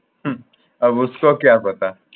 হম Hindi আব উসকো কিয়া পাতা